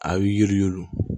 A ye yiri